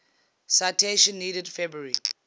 citation needed february